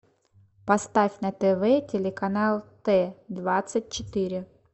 поставь на тв телеканал т двадцать четыре